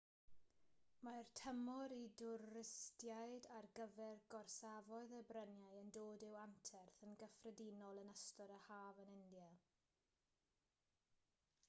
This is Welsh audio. mae'r tymor i dwristiaid ar gyfer gorsafoedd y bryniau yn dod i'w anterth yn gyffredinol yn ystod yr haf yn india